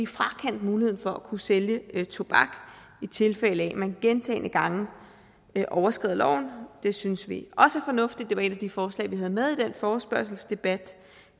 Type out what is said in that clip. frakendt muligheden for at kunne sælge tobak i tilfælde af at man gentagne gange overskrider loven det synes vi også er fornuftigt det var et af de forslag vi havde med i den forespørgselsdebat